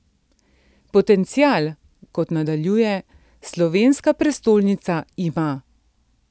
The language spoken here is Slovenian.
Potencial, kot nadaljuje, slovenska prestolnica ima.